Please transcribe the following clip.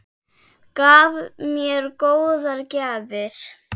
Gaf mér góðar gjafir.